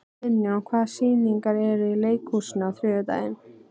Finnjón, hvaða sýningar eru í leikhúsinu á þriðjudaginn?